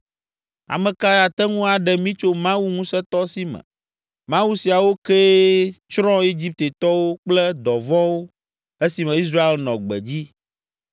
Ame kae ate ŋu aɖe mí tso Mawu ŋusẽtɔ si me? Mawu siawo kee tsrɔ̃ Egiptetɔwo kple dɔ vɔ̃wo esime Israel nɔ gbedzi.